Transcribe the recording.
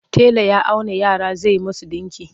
Tela ya auna yara zai musu ɗinki.